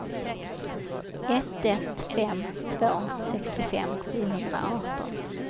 ett ett fem två sextiofem sjuhundraarton